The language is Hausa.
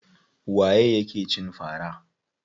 Waye ya ke cin fara?